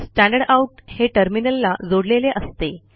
standard out हे टर्मिनलला जोडलेले असते